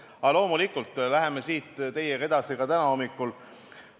Aga loomulikult läheme siit teiega edasi täna hommikul.